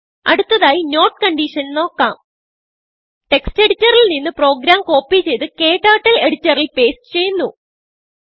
അടുത്തതായി notകൺഡിഷൻ നോക്കാം ടെക്സ്റ്റ് എഡിറ്ററിൽ നിന്ന് പ്രോഗ്രാം കോപ്പി ചെയ്ത് KTurtleഎഡിറ്ററിൽ പേസ്റ്റ് ചെയ്യുന്നു